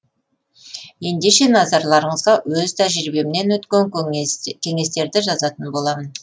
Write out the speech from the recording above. ендеше назарларыңызға өз тәжірибемнен өткен кеңестерді жазатын боламын